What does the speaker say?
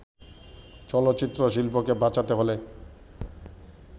চলচ্চিত্রশিল্পকে বাঁচাতে হলে